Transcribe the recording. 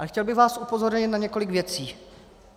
Ale chtěl bych vás upozornit na několik věcí.